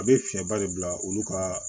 A bɛ fiɲɛba de bila olu ka